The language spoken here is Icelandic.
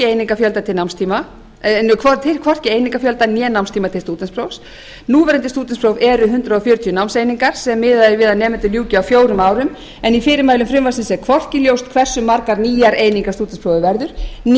á þeirri staðreynd að frumvarpið tilgreinir hvorki einingafjölda né námstíma til stúdentsprófs núverandi stúdentspróf eru hundrað fjörutíu námseiningar sem miðað er við að nemendur ljúki á fjórum árum en í fyrirmælum frumvarpsins er hvorki ljóst hversu margar nýjar einingar stúdentsprófið verður